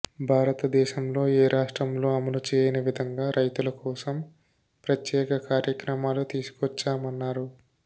భారతదేశంలో ఏ రాష్ట్రంలో అమలుచేయని విధంగా రైతుల కోసం ప్రత్యేక కార్యక్రమాలు తీసుకొచ్చామన్నారు